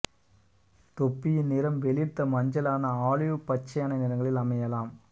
தொப்பியின் நிறம் வெளிர்த்த மஞ்சளான ஆலிவ் பச்சையான நிறங்களில் அமையலாம்